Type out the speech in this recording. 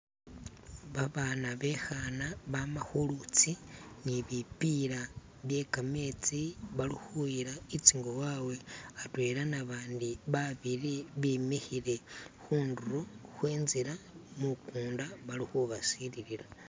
Babana be'khana bama khulutsi ne bipila byekametsi balikhuyila i'tsingo wawe atwela nabandi babiili bimikhile khundulo khwentsila mukunda bali khubasililila.